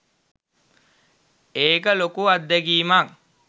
ඒක ලොකු අත්දැකීමක්.